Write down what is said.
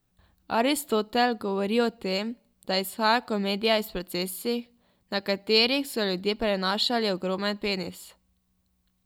Aristotel govori o tem, da izhaja komedija iz procesij, na katerih so ljudje prenašali ogromen penis.